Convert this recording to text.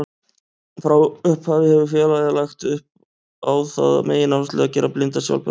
Frá upphafi hefur félagið lagt á það megináherslu að gera blinda sjálfbjarga.